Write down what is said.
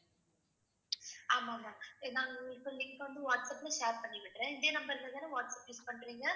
ஆமா ma'am அஹ் நாங்க இப்ப link வந்து வாட்ஸ்அப் share பண்ணி விடுறேன். இதே number லதானே வாட்ஸ்அப் use பண்றீங்க?